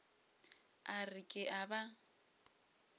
a re ke a ba